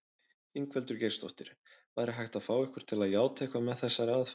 Ingveldur Geirsdóttir: Væri hægt að fá ykkur til játa eitthvað með þessari aðferð?